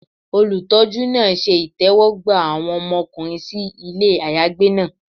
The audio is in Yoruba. Olutọjú naa ṣe itẹwọgba awọn ọmọkunrin si ile ayagbe naa